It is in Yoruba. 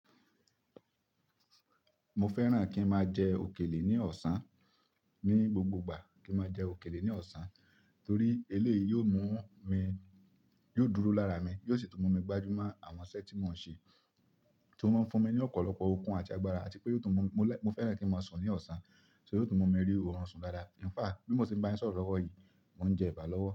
Mo fẹ́ràn kí n máa jẹ òkèlè ní ọ̀sán, ní gbogbo ìgbà kí n máa jẹ òkèlè ní ọ̀sán torí eléyìí yóò mú mi, yóò dúró lára mi, yóò sì tún mú mi gbajúmọ̀ àwọn iṣẹ́ tí mò ń ṣe, tó máa ń fún mi ní ọ̀pọ̀lọpọ̀ okun àti agbára àti pé yóò tún mú Mo fẹ́ràn kí n máa sùn ní ọ̀sán, ṣé yóò tún mú mi rí òórùn sùn dáadáa. Ìnfáà, bí mo ṣe bá yín sọ̀rọ̀ ọ̀wọ̀ yìí, mò ń jẹ ẹ̀bà lọ́wọ́.